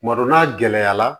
Tuma dɔ n'a gɛlɛyara